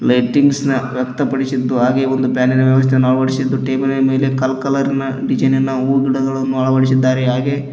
lightings ನ ವ್ಯಕ್ತಪಡಿಸಿದ್ದು ಹಾಗೆ ಒಂದು ಫ್ಯಾನಿನ ವ್ಯವಸ್ಥೆಯನ್ನು ಅಳವಡಿಸಿದ್ದು ಟೇಬಲ್ ನ ಮೇಲೆ ಕಲ್ ಕಲರ್ ಡಿಸೈನ್ ಇನ ಹೂವು ಗಿಡಗಳನ್ನು ಅಳವಡಿಸಿದ್ದಾರೆ ಹಾಗೆ --